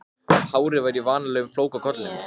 Og nú sést náttúrlega ekki neitt.